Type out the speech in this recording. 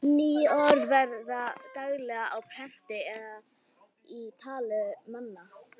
Ný orð verða til daglega á prenti eða í tali manna.